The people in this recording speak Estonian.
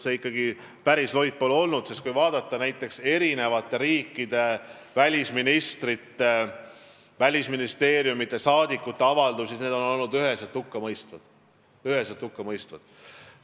See ikkagi päris loid pole olnud: kui vaadata näiteks eri riikide välisministrite, välisministeeriumide saadikute avaldusi, siis need on olnud üheselt hukkamõistvad.